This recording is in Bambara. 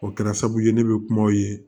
O kɛra sababu ye ne bɛ kumaw ye